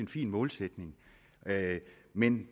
fin målsætning men